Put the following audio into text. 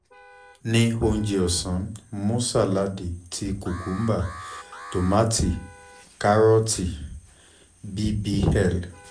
ni ounjẹ ọsan mu saladi ti cucumber tomati karooti bbl